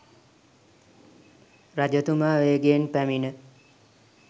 රජතුමා වේගයෙන් පැමිණ